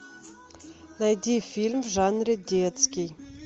найди фильм в жанре детский